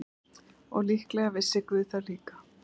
Og líklega vissi guð það líka.